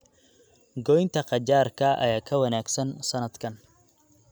Goynta qajaarka ayaa ka wanaagsan sanadkan.